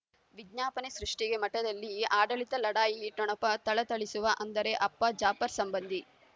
ವಿಜ್ಞಾಪನೆ ಸೃಷ್ಟಿಗೆ ಮಠದಲ್ಲಿ ಆಡಳಿತ ಲಢಾಯಿ ಠೊಣಪ ಥಳಥಳಿಸುವ ಅಂದರೆ ಅಪ್ಪ ಜಾಫರ್ ಸಂಬಂಧಿ